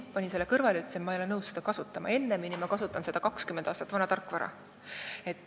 Panin selle kõrvale ja ütlesin, et ma ei ole nõus seda kasutama, ennemini kasutan 20 aastat vana tarkvara.